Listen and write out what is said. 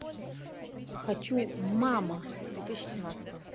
хочу мама две тысячи семнадцатого